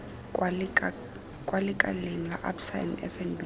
kwa lekaleng la absa fnb